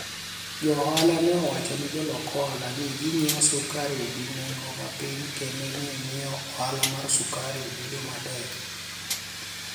jo ohala ni e owacho nii jolok ohala ni e nigiewo sukari gi ni enigo mapiniy kenido ni e miyo ohala mar sukari bedo matek